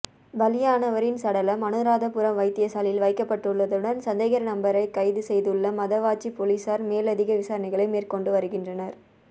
பலியானவரின் சடலம் அனுராதபுரம் வைத்தியசாலையில் வைக்கப்பட்டள்ளதுடன் சந்தேகநபரை கைது செய்துள்ள மதவாச்சி பொலிசார் மேலதிக விசாரணைகளை மேற்கொண்டு வருகின்றனர்